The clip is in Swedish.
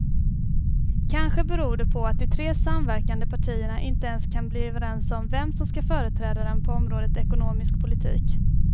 Kanske beror det på att de tre samverkande partierna inte ens kan bli överens om vem som ska företräda dem på området ekonomisk politik.